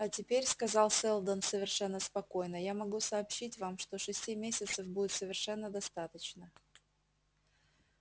а теперь сказал сэлдон совершенно спокойно я могу сообщить вам что шести месяцев будет совершенно достаточно